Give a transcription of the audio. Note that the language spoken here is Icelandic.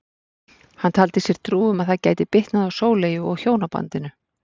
Hann taldi sér trú um að það gæti bitnað á Sóleyju og hjónabandinu.